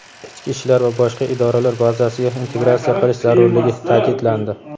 ichki ishlar va boshqa idoralar bazasiga integratsiya qilish zarurligi ta’kidlandi.